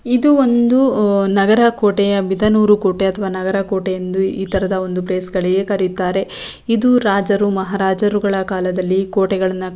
ಇದು ಒಂದು ಆಹ್ಹ್ ನಗರ ಕೋಟೆಯ ಬಿದನೂರು ಕೋಟೆ ಅಥವಾ ನಗರ ಕೋಟೆಯೆಂದು ಈ ತರದ ಒಂದು ಪ್ಲೇಸ್ ಗಳಿಗೆ ಕರೀತಾರೆ ಇದು ರಾಜರು ಮಹಾರಾಜರುಗಳ ಕಾಲದಲ್ಲಿ ಕೋಟೆಗಳನ್ನ ಕ--